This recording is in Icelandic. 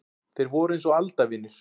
Þeir voru eins og aldavinir.